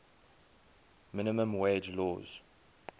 minimum wage laws